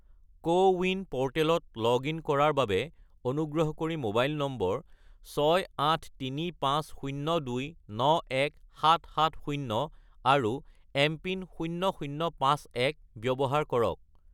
CoWIN প'ৰ্টেলত log in কৰাৰ বাবে অনুগ্ৰহ কৰি মোবাইল নম্বৰ 68350291770 আৰু এমপিন 0051 ব্যৱহাৰ কৰক।